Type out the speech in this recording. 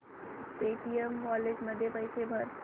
Paytm wallet मध्ये पैसे भर